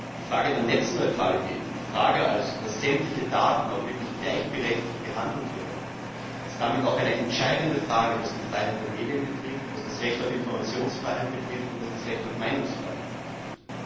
Die Frage der Netzneutralität, die Frage also, dass sämtliche Daten auch wirklich gleichberechtigt werden, ist damit auch eine entscheidende Frage, was die Freiheit der Medien betrifft, was das Recht auf Informationsfreiheit betrifft und was das Recht auf Meinungsfreiheit betrifft.